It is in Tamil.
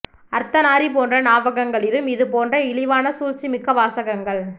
அர்த்தநாரி போன்ற நாவல்களிலும் இது போன்ற இழிவான சூழ்ச்சி மிக்க வாசங்கள்